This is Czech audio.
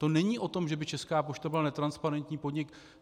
To není o tom, že by Česká pošta byla netransparentní podnik.